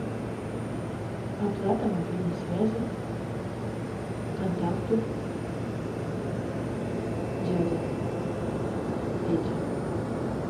оплата мобильной связи контакту дядя петя